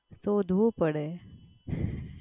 શોધવું પડે.